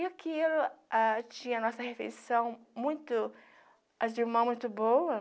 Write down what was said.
E aquilo ah tinha nossa refeição muito... As irmãs muito boa.